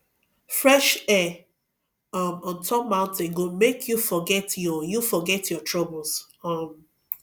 fresh air um on top mountain go make you forget your you forget your troubles um